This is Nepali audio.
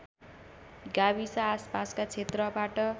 गाविस आसपासका क्षेत्रबाट